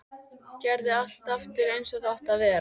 Gerði allt aftur eins og það átti að vera.